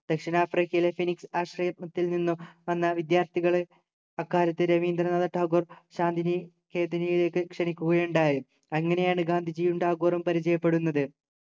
ദക്ഷിണാഫ്രിക്കയിലെ phoenix ആശ്രയ മത്തിൽ നിന്നും വന്ന വിദ്യാർത്ഥികളെ അക്കാലത്ത് രവീന്ദ്രനാഥ ടാഗോർ ശാന്തിനികേതനത്തിലേക്ക് ക്ഷണിക്കുകയുണ്ടായി അങ്ങനെയാണ് ഗാന്ധിജിയും ടാഗോറും പരിചയപ്പെടുന്നത്